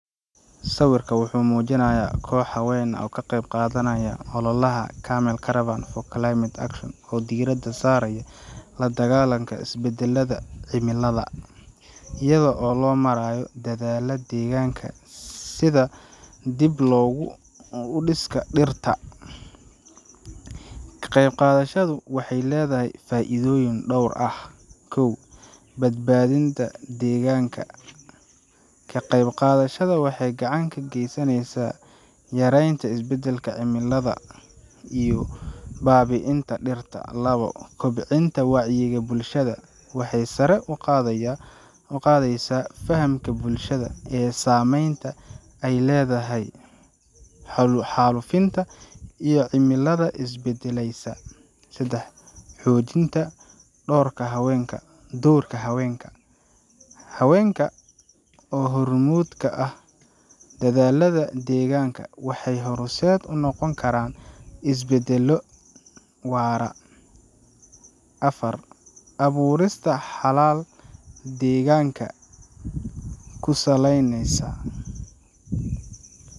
Sawirka wuxuu muujinayaa koox haween ah oo ka qaybqaadanaya ololaha Camel Caravan for Climate Action, oo diiradda saaraya la-dagaallanka isbeddelka cimilada iyada oo loo marayo dadaallada deegaanka sida dibu-dhiska dhirta. Ka qaybqaadashadu waxay leedahay faa’iidooyin dhowr ah: kow Badbaadinta deegaanka: Ka qaybqaadashada waxay gacan ka geysanaysaa yareynta isbeddelka cimilada iyo baabi'inta dhirta. labo Kobcinta wacyiga bulshada: Waxay sare u qaadaysaa fahamka bulshada ee saameynta ay leedahay xaalufinta iyo cimilada is beddelaysa. sedax Xoojinta doorka haweenka: Haweenka oo hormuud ka ah dadaallada deegaanka waxay horseed u noqon karaan isbeddel waara. afar abuurista xalal deegaanka ku saleysan: